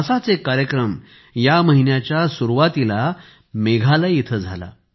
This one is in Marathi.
असाच एक कार्यक्रम या महिन्याच्या सुरुवातीला मेघालय इथे झाला